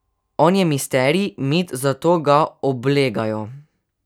On je misterij, mit, zato ga oblegajo.